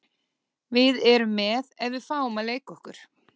Við erum með ef við fáum að leika okkur.